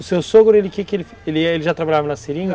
O seu sogro, ele já trabalhava na seringa?